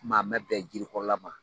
an mɛn bɛn jirikɔrɔla ma.